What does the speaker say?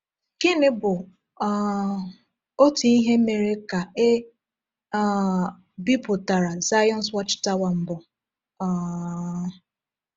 Gịnị bụ um otu ihe mere ka e um bipụtara Zion’s Watch Tower mbụ? um